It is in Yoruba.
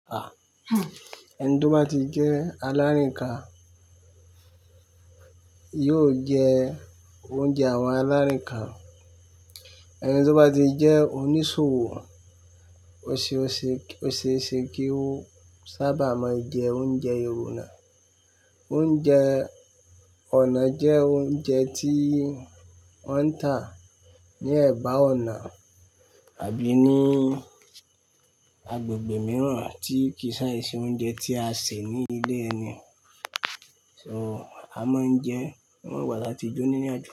À, ẹni tó bá ti jẹ alárìnka, yóò jẹ oúnjẹ àwọn alárìnka. Ẹni tó bá ti jẹ onísòwò, oṣeọṣe, oṣeeṣe kio, sábà máa ń jẹ oúnjẹ ìwòna. Oúnjẹ ọ̀nà jẹ́ oúnjẹ tí wọ́n ń tà ní ẹ̀bá ọ̀nà àbí ní agbègbè mìíràn tí kì í ṣàìṣe oúnjẹ tí a ṣè ní ilé ẹni. So, a máa ń jẹ, ó mà wuwa láti jóní ní àájó.